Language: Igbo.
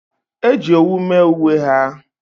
e ji owu mee uwe ha